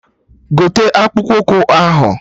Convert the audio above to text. Gote akpụkpụ ụkwụ ahụ!